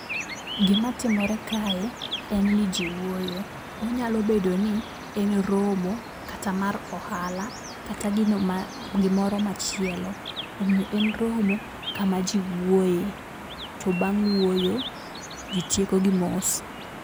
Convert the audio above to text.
Gima timore kae en ni jii wuoyo. Onyalo bedo ni en romo kata mar ohala kata gino gimoro machielo. Omiyo en romo kama jii wuoye to bang' wuoyo jii tieko gi mos.